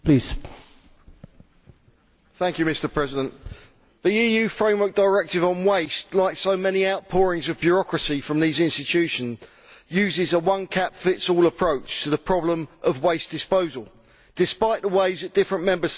Mr President, the EU Framework Directive on Waste, like so many outpourings of bureaucracy from these institutions, uses a one cap fits all approach to the problem of waste disposal, despite the ways that different Member States have traditionally approached this subject.